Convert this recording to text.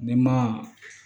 Ni ma